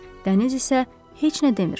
Dəniz isə heç nə demir.